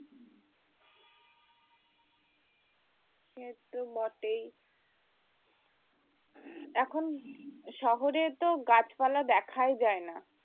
সে তো বটেই এখন শহরে তো গাছপালা দেখাই যায় না